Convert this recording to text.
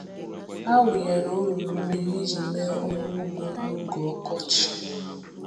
A wụnyere olulu mmiri iji mee ọrụ ugbo n’oge ọkọchị. um